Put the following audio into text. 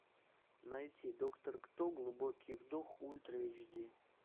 найти доктор кто глубокий вдох ультра эйч ди